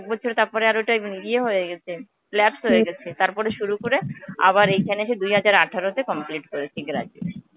বলছিলো তারপরে আর ঐটা ইয়ে হয়েগেছে. lapse হয়ে গেছে. তারপরে শুরু করে আবার এইখানে এসে দুই হাজার আঠারোতে complete করেছি graduation.